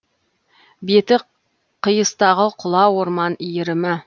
беті қиыстағы құла орман иірімі